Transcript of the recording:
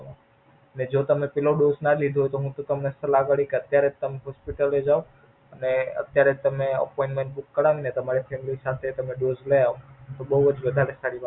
મેં જો તમે પેલો Dose ના લીધો હોય તો હું તમને સલાહર કરી અત્યારે ત તમે Hospital જાવ. અને અત્યારે જ તમે Oppayment બુક કરાવીને તમારા Family સાથે તમે Dose લય આવો. તો બોવ જ વધારે હારી વાત.